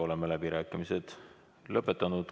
Oleme läbirääkimised lõpetanud.